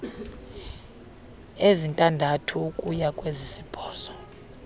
ezintandathu ukuya kwezisibhozo